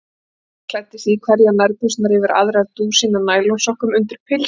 Mamma klæddi sig í hverjar nærbuxurnar yfir aðrar, dúsín af nælonsokkum, undirpils og kjóla.